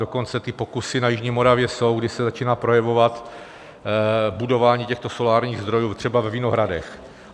Dokonce ty pokusy na jižní Moravě jsou, kdy se začíná projevovat budování těchto solárních zdrojů třeba ve vinohradech.